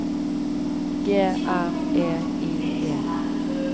G R E I D